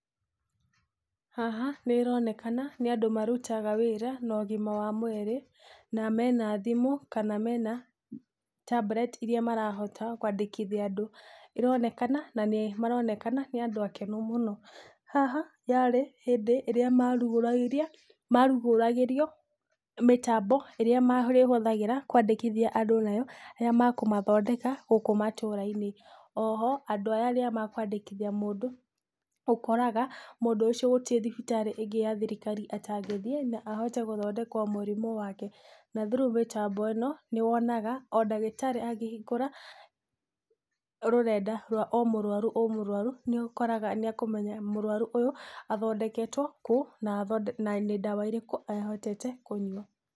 Haha nĩĩronekana nĩ andũ marutaga wĩra no ũgima wa mwĩrĩ na mena thimũ kana mena tambureti iria marahota kwandĩkithia andũ. Ĩronekana na nĩ maronekana nĩ andũ akenu mũno. Haha yarĩ hĩndĩ ĩrĩa marugũragĩrio mĩtambo ĩrĩa marĩhũthagĩra kwandĩkithia andũ nayo rĩrĩa makũmathondeka gũkũ matũra-inĩ. o ho, andũ aya rĩrĩa mekwandĩkithia mũndũ, ũkoraga mũndũ ũcio gũtirĩ thibiraĩ ĩngĩ ya thirikari atagĩthiĩ na ahote gũthondekwo mũrimũ wake na through mĩtambo ĩno nĩwona o ndagĩtarĩ angĩhingũra rũrenda rwa o mũrwaru o mũrwaru nĩũkoraga nĩ ekũmenya mũrwaru ũyũ athondeketwo kũũ na nĩ ndawa irĩkũ ahotete kũnyua.